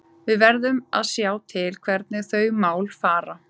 Við verðum að sjá til hvernig þau mál fara.